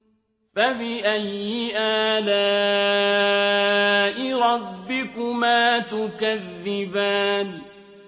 فَبِأَيِّ آلَاءِ رَبِّكُمَا تُكَذِّبَانِ